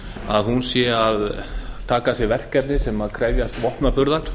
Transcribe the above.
að herlaus þjóð taki að sér verkefni sem krefjast vopnaburðar